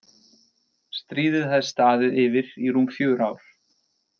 Stríðið hafði staðið yfir í rúm fjögur ár.